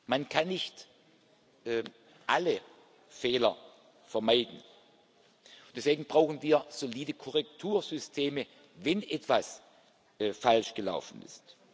Man kann nicht alle Fehler vermeiden. Deswegen brauchen wir solide Korrektursysteme, wenn etwas falsch gelaufen ist.